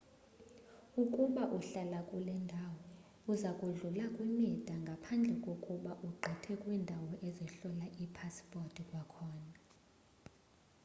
ukuba uhlala kule ndawo uza kudlula kwimida ngaphandle kokuba ugqithe kwiindawo ezihlola iipasipothi kwakhona